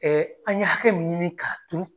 an ye hakɛ min ɲini ka turu